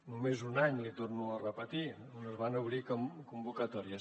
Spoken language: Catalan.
només un any l’hi torno a repetir on es van obrir convocatòries